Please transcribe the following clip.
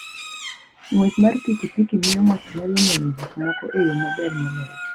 Ng'wech mar pikipiki miyo ng'ato nyalo neno gik moko e yo maber moloyo.